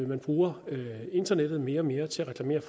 man bruger internettet mere og mere til at reklamere